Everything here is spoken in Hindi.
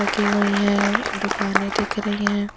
लगी हुई हैं दुकानें दिख रही हैं।